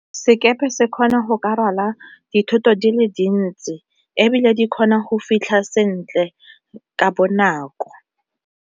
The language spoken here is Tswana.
Sekepe se kgona go ka rwala dithoto di le dintsi, ebile di kgona go fitlha sentle ka bonako.